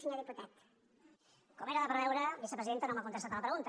com era de preveure vicepresidenta no m’ha contes·tat a la pregunta